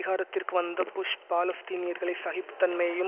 அதிகாரத்திற்கு வந்த புஷ் பாலஸ்தீனியர்களை சகிப்புதன்மையையும்